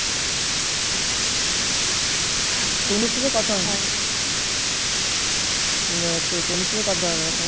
মানে তনুর সাথে কথা হয়না